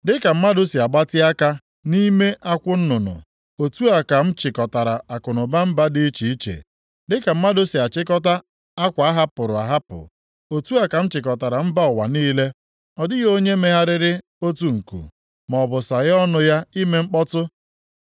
Dịka mmadụ si agbatị aka nʼime akwụ nnụnụ, otu a ka m chịkọtara akụnụba mba dị iche iche, dịka mmadụ si achịkọta akwa ahapụrụ ahapụ, otu a ka m chịkọtara mba ụwa niile; Ọ dịghị onye megharịrị otu nku, maọbụ saghee ọnụ ya ime mkpọtụ!’ ”